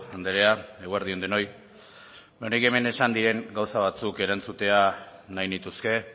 andrea eguerdi on denoi nik hemen esan diren gauza batzuk erantzutea nahi nituzke